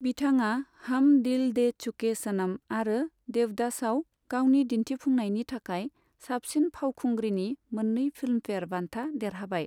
बिथाङा हम दिल दे चुके सनम आरो देवदासआव गावनि दिन्थिफुंनायनि थाखाय साबसिन फावखुंग्रिनि मोन्नै फिल्मफेयर बान्था देरहाबाय।